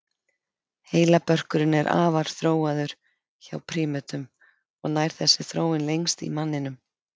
Heilabörkurinn er afar þróaður hjá prímötum og nær þessi þróun lengst í manninum.